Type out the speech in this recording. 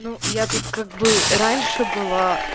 ну я тут как бы раньше была